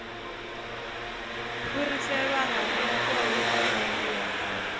fhiriselwa ha mikovhe na dzimbilo